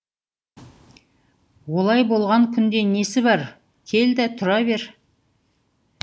олай болған күнде несі бар кел де тұра бер